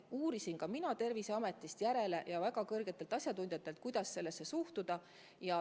Uurisin ka Terviseametist järele, ja väga kõrgetelt asjatundjatelt, kuidas sellesse suhtuda.